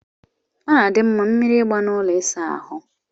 Ọ na-adị mma mmiri ịgba na ụlọ ịsa ahụ.